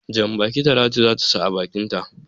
Jan-baki Talatu za ta sa a bakinta.